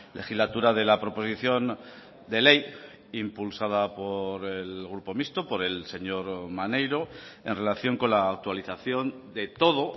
legislatura de la proposición de ley impulsada por el grupo mixto por el señor maneiro en relación con la actualización de todo